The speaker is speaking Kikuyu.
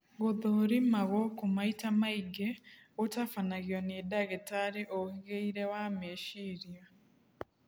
Gũthũrima gũkũ maita maingi gũtabanagio nĩ ndagĩtarĩ ũhĩgĩrĩire wa meciria